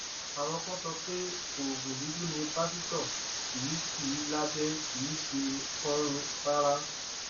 àwọn kan sọ pé oògùn dúdú ni pásítọ kì sí i lábẹ kì í ṣe kánun rárá